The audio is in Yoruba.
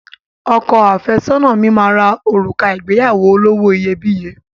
Ọkọ àfẹ́sọ́nà mi máa ra òrùka ìgbéyàwó olówó iyebíye